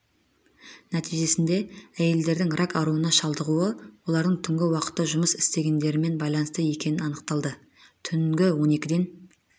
нәтижесінде әйелдердің рак ауруына шалдығуы олардың түнгі уақытта жұмыс істегендерімен байланысты екені анықталды түнгі он екіден